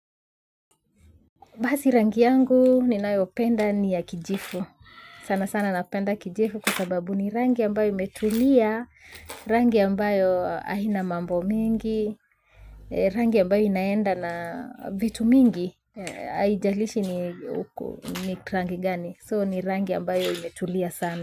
Basi rangi yangu ninayo penda ni ya kijifu. Sana sana napenda kijifu kwa sababu ni rangi ambayo imetulia, rangi ambayo haina mambo mingi, rangi ambayo inaenda na vitu mingi. Haijalishi ni rangi gani. So ni rangi ambayo imetulia sana.